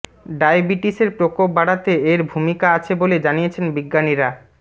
ডায়াবিটিসের প্রকোপ বাড়াতে এর ভূমিকা আছে বলে জানিয়েছেন বিজ্ঞানীরা